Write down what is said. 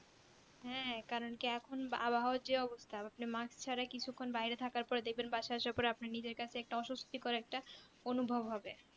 হ্যাঁ কারণ কি এখন আবহাওয়ার যে অবস্থা আপনি mask ছাড়া কিছুক্ষন বাইরে থাকার পর দেখবেন বাসায় আসার পর দেখবেন আপনি নিজের কাছে একটা অস্বস্তিকর একটা অনুভব হবে